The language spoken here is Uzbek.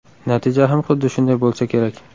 Natija ham xuddi shunday bo‘lsa kerak.